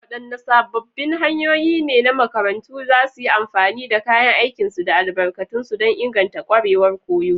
Wadanne sabbin hanyoyi ne makarantu za su iya amfani da kayan aikinsu da albarkatunsu don inganta kwarewar koyo?